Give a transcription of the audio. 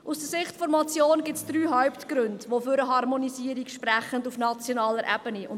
Aus Sicht der Motion gibt es drei Hauptgründe, welche für eine Harmonisierung auf nationaler Ebene sprechen.